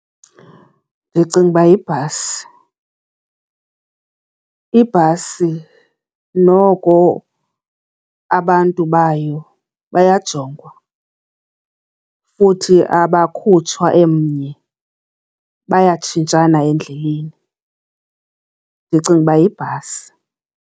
Ndicinga uba yibhasi, ibhasi noko abantu bayo bayajongwa futhi abakhutshwa emnye bayatshintshana endleleni. Ndicinga uba yibhasi.